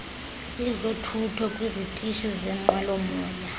yezothutho kwizitishi zenqwelomoya